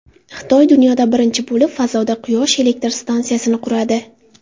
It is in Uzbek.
Xitoy dunyoda birinchi bo‘lib fazoda Quyosh elektr stansiyasini quradi.